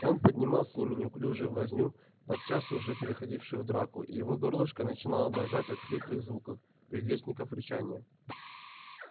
он поднимал с ними неуклюжую возню подчас уже переходившую в драку и его горлышко начинало дрожать от хриплых звуков предвестников рычания